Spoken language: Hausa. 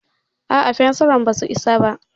A'a, fensiran basu isa ba.